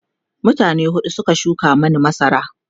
mutane huɗu Suka shuka Mani masara